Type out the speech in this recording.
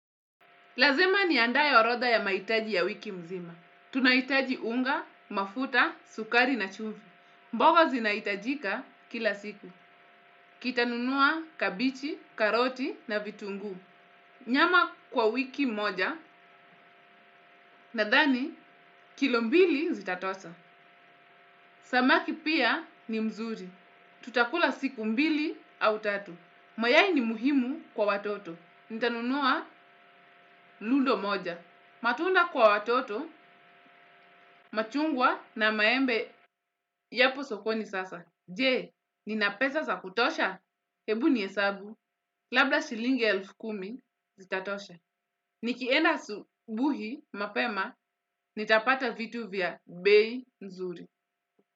Lazima niandae orodha ya mahitaji ya wiki nzima. Tunahitaji unga, mafuta, sukari na chumvi. Mboga zinahitajika kila siku. Kita nunua kabichi, karoti na vitunguu. Nyama kwa wiki moja nadhani kilo mbili zitatosha. Samaki pia ni mzuri. Tutakula siku mbili au tatu. Mayai ni muhimu kwa watoto. Nitanunua lundo moja. Matunda kwa watoto, machungwa na maembe yapo sokoni sasa. Je, ninapesa za kutosha? Hebu nihesabu, labda shilingi elfu kumi, zitatosha. Nikienda asubuhi mapema, nitapata vitu vya bei nzuri.